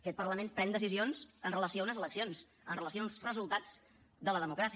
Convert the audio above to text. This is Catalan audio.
aquest parlament pren decisions amb relació a unes eleccions amb relació a uns resultats de la democràcia